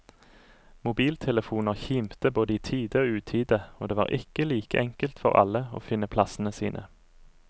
Mobiltelefoner kimte både i tide og utide, og det var ikke like enkelt for alle å finne plassene sine.